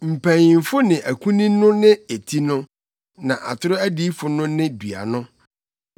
mpanyimfo ne akunini no ne eti no, na atoro adiyifo no ne dua no.